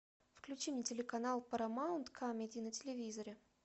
включи мне телеканал парамаунт камеди на телевизоре